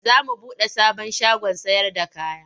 Za mu buɗe sabon shagon sayarda kaya.